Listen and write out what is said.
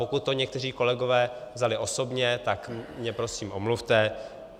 Pokud to někteří kolegové vzali osobně, tak mě prosím omluvte.